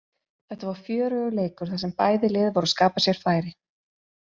Þetta var fjörugur leikur þar sem bæði lið voru að skapa sér færi.